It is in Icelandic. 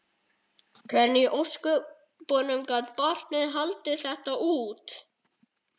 Hvernig í ósköpunum gat barnið haldið þetta út?